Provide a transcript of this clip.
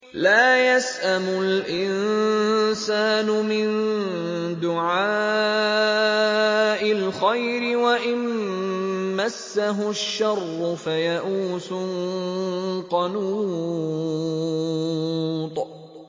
لَّا يَسْأَمُ الْإِنسَانُ مِن دُعَاءِ الْخَيْرِ وَإِن مَّسَّهُ الشَّرُّ فَيَئُوسٌ قَنُوطٌ